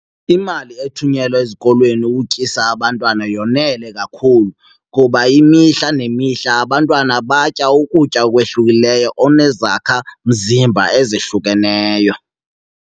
Imali ethunyelwa ezikolweni ukutyisa abantwana yonele kakhulu kuba imihla nemihla abantwana batya ukutya okwehlukileyo onezakhamzimba ezehlukeneyo.